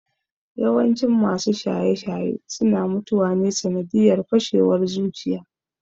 Yawancin masu shaye-shaye suna mutuwa ne sanadiyar fashewar zuciya